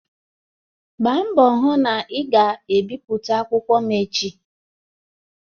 Gbaa mbọ hụ na ị ga-ebipụta akwụkwọ m echi!